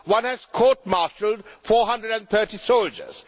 One has court martialled 430 soldiers